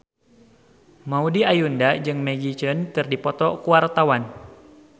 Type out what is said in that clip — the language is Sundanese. Maudy Ayunda jeung Maggie Cheung keur dipoto ku wartawan